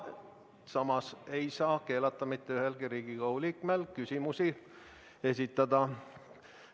Samas ei saa mitte ühelegi Riigikogu liikmele keelata küsimusi esitada.